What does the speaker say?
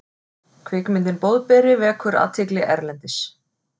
Kvikmyndin Boðberi vekur athygli erlendis